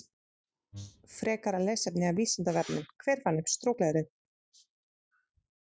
Frekara lesefni af Vísindavefnum: Hver fann upp strokleðrið?